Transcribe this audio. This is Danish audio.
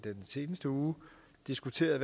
seneste uge diskuteret